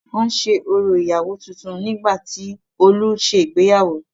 Wọ́n ṣe orò ìyàwó tuntun nígbà tí Olú se ìgbéyàwó.